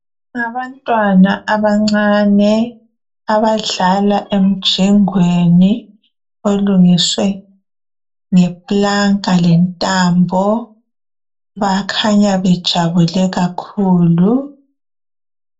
Ngabantwana abancane. Abadlala emjingweni. Olungiswe ngeplanka lentambo. Bakhanya bejabule kakhulu.